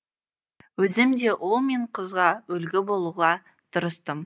өзім де ұл мен қызға үлгі болуға тырыстым